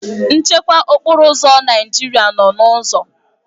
Nchekwa okporo ụzọ Naijiria nọrọ n'ụzọ